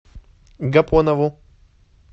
гапонову